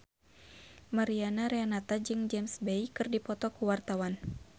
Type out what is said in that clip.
Mariana Renata jeung James Bay keur dipoto ku wartawan